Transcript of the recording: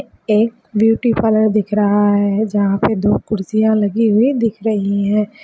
एक beauty parlour दिख रहा है जहाँ पे दो कुर्सियाँ लगा हुई दिख रही हैं।